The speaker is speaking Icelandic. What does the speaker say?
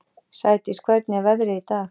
Sædís, hvernig er veðrið í dag?